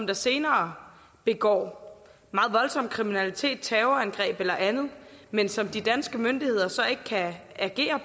der senere begår meget voldsom kriminalitet terrorangreb eller andet men som de danske myndigheder så ikke kan agere